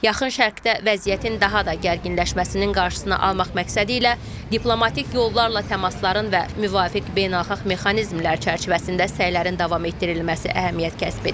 Yaxın Şərqdə vəziyyətin daha da gərginləşməsinin qarşısını almaq məqsədi ilə diplomatik yollarla təmasların və müvafiq beynəlxalq mexanizmlər çərçivəsində səylərin davam etdirilməsi əhəmiyyət kəsb edir.